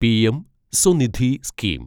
PM Svanidhi scheme